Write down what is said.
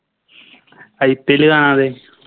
IPL കാണാതെ